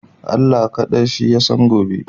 Allah kaɗai Shi Ya san gobe.